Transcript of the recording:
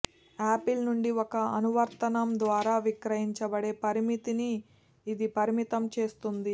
apple నుండి ఒక అనువర్తనం ద్వారా విక్రయించబడే పరిమితిని ఇది పరిమితం చేస్తుంది